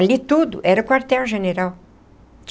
Ali tudo era quartel-general.